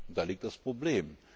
Da liegt das Problem.